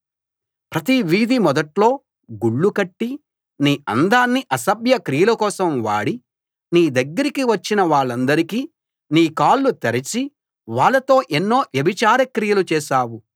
ప్రతి వీధి మొదట్లో గుళ్ళు కట్టి నీ అందాన్ని అసభ్య క్రియల కోసం వాడి నీ దగ్గరికి వచ్చిన వాళ్ళందరికీ నీ కాళ్ళు తెరిచి వాళ్ళతో ఎన్నో వ్యభిచార క్రియలు చేశావు